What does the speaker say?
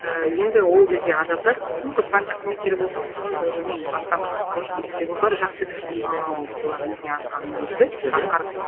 і енді ол кезде адамдар мүмкін партия қызметкері болсын мүмкін бір білмеймін басқа бір атқарушы билікте болса жақсы кәсіби маман болды бұлар өзіне артылған міндетті атқарды